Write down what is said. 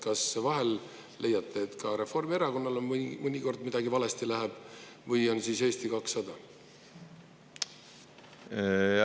Kas te vahel leiate, et Reformierakonnal läheb ka mõnikord midagi valesti, või on siis Eesti 200?